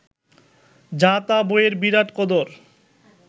যা-তা বইয়ের বিরাট কদর